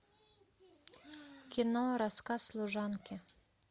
кино рассказ служанки